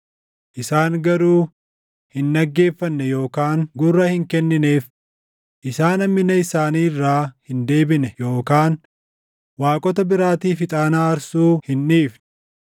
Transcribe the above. Isaan garuu hin dhaggeeffanne yookaan gurra hin kennineef; isaan hammina isaanii irraa hin deebine yookaan waaqota biraatiif ixaana aarsuu hin dhiifne.